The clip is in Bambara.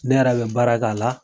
Ne yɛrɛ bɛ baara k'a la.